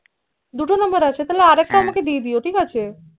দুটো number আছে হ্য়াঁ তাহলে আরএকটা আমাকে দিয়ে দিয়ো ঠিক আছে